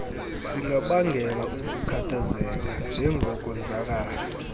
zingabangela ukukhathazeka njengokonzakala